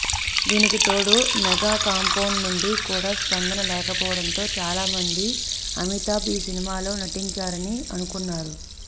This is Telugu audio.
దీనికి తోడు మెగా కాంపౌండ్ నుండి కూడా స్పందన లేకపోవడంతో చాలా మంది అమితాబ్ ఈ సినిమాలో నటించరని అనుకున్నారు